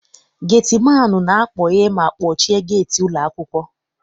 Geti maanụ na-akpọghe ma kpọchie geeti ụlọ akwụkwọ.